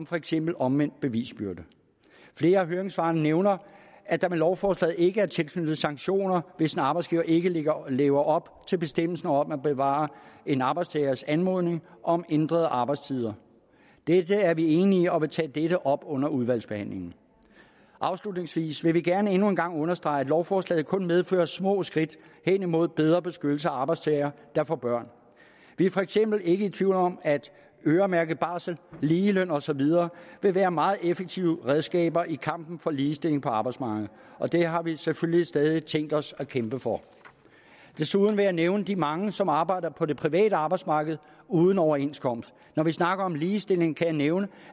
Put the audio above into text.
for eksempel omvendt bevisbyrde flere af høringssvarene nævner at der med lovforslaget ikke er tilknyttet sanktioner hvis en arbejdsgiver ikke lever lever op til bestemmelsen om at besvare en arbejdstagers anmodning om ændrede arbejdstider dette er vi enige og vil tage dette op under udvalgsbehandlingen afslutningsvis vil vi gerne endnu en gang understrege at lovforslaget kun medfører små skridt hen imod bedre beskyttelse af arbejdstagere der får børn vi er for eksempel ikke i tvivl om at øremærket barsel ligeløn og så videre ville være meget effektive redskaber i kampen for ligestilling på arbejdsmarkedet og det har vi selvfølgelig stadig tænkt os at kæmpe for desuden vil jeg nævne de mange som arbejder på det private arbejdsmarked uden overenskomst når vi snakker om ligestilling kan jeg nævne